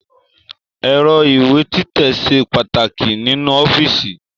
Ẹ̀rọ ìwé títẹ̀ ṣe pàtàkì nínú ọ́fíìsì